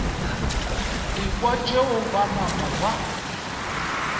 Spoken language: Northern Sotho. ekwa tšeo ba napa ba